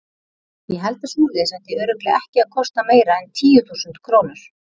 Ég held að svoleiðis ætti örugglega ekki að kosta meira en tíu þúsund krónur.